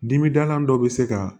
Dimidalan dɔ bɛ se ka